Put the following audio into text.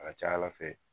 A ka ca ala fɛ